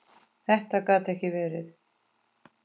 Þetta gat ekki verið!